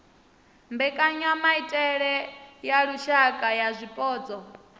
mbekanyamaitele ya lushaka ya zwipotso